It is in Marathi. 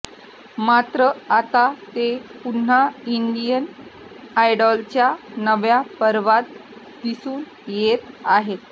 मात्र आता ते पुन्हा इंडियन आयडॉलच्या नव्या पर्वात दिसून येत आहे